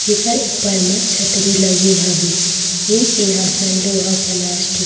जेकर ऊपर मे छतरी लगे हवे ये सिहासन लोहा प्लास्टिक --